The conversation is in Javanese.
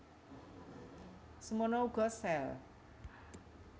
Semana uga sel